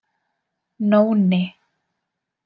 Nóni